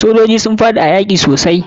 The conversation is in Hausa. Sojoji sun yi faɗa a yaki sosai.